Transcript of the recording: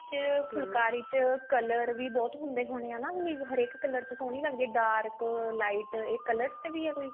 ਇਸ ਫੁਲਕਾਰੀ ਚ color ਵੀ ਬਹੁਤ ਹੁੰਦੇ ਹੋਣੇ ਆ means ਹਰੇਕ color ਚ ਸੋਹਣੀ ਲੱਗਦੀ ਆ means dark lite ਇਹ color ਚ ਵੀ ਆ ਕੋਈ